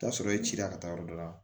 I bi t'a sɔrɔ i ci la ka taa yɔrɔ dɔ la